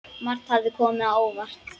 Margt hafði komið á óvart.